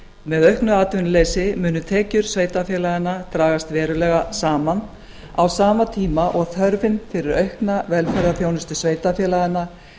með auknu atvinnuleysi munu tekjur sveitarfélaganna dragast verulega saman á sama tíma og þörfin fyrir aukna velferðarþjónustu sveitarfélaganna